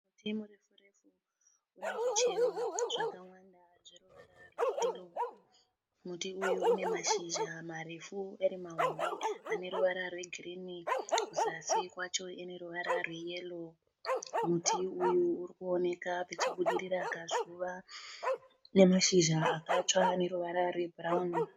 Muti murefu refu une zvichero zvakawanda zveruvara rweyero. Muti uyu une mashizha marefu ari mahombe ane ruvara rwegirini. Kuzasi kwacho ane ruvara rweyero. Muti uyu uri kuoneka pachibudirira kazuva nemashizha akatsva ane ruvara rwebhurawuni.